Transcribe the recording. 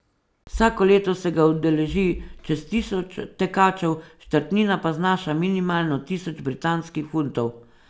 Vsako leto se ga udeleži čez tisoč tekačev, štartnina pa znaša minimalno tisoč britanskih funtov.